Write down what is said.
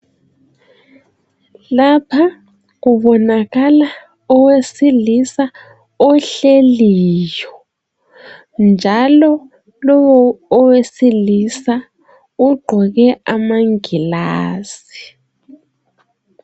Lapha kubonakala owesilisa ohleliyo. Njalo lowo owesilisa ugqoke amangilazi.